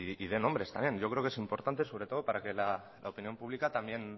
y de nombres también yo creo que es importante sobre todo para que la opinión pública también